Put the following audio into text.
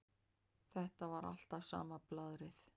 Þetta var alltaf sama blaðrið.